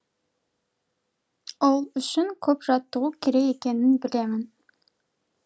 ол үшін көп жаттығу керек екенін білемін